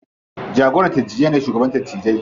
Jagoran dattijai ne shugaban dattijai.